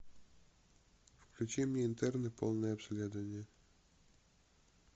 включи мне интерны полное обследование